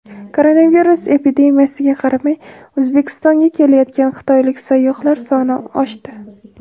Koronavirus epidemiyasiga qaramay O‘zbekistonga kelayotgan xitoylik sayyohlar soni oshdi.